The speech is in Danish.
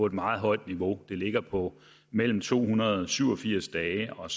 et meget højt niveau det ligger på mellem to hundrede og syv og firs dage og